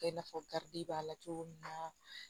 I n'a fɔ karidi b'a la cogo min na